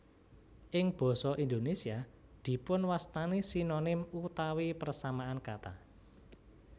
Ing basa Indonesia dipun wastani Sinonim utawi persamaan kata